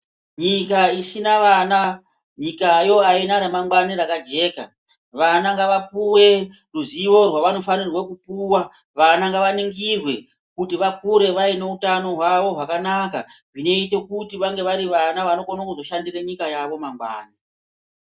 Nyika isina vana nyikayo aina ramangwani rakajeka, vana ngavapuwe ruzivo rwavanofanira kupuwa vana ngavaningirwe kuti vakure vaine utano hwavo hwakanaka zvinoite kuti vange vari vana vanokone kuzoshandire nyika yavo mangwani.